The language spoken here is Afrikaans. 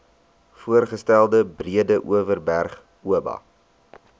voorgestelde breedeoverberg oba